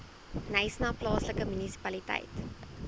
knysna plaaslike munisipaliteit